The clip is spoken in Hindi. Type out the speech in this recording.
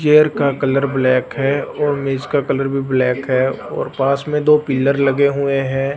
चेयर का कलर ब्लैक है और मेज का कलर भी ब्लैक है और पास में दो पिलर लगे हुए हैं।